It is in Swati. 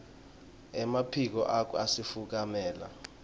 emaphiko akho asifukamela